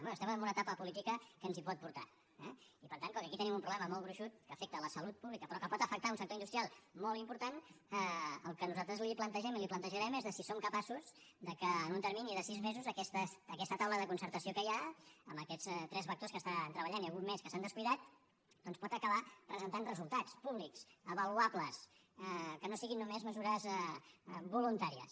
bé estem en una etapa política que ens hi pot portar eh i per tant com que aquí tenim un problema molt gruixut que afecta la salut pública però que pot afectar un sector industrial molt important el que nosaltres li plantegem i li plantejarem és de si som capaços que en un termini de sis mesos aquesta taula de concertació que hi ha amb aquests tres vectors que estan treballant i algun més que s’han descuidat doncs pot acabar presentant resultats públics avaluables que no siguin només mesures voluntàries